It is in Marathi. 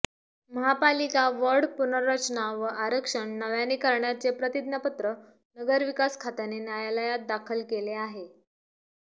महापालिका वॉर्ड पुनर्रचना व आरक्षण नव्याने करण्याचे प्रतिज्ञापत्र नगरविकास खात्याने न्यायालयात दाखल केले आहे